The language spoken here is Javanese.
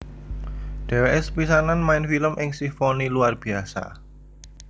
Dheweke sepisanan main film ing Simfoni Luar Biasa